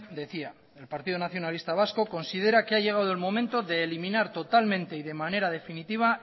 decía el partido nacionalista vasco considera que ha llegado el momento de eliminar totalmente y de manera definitiva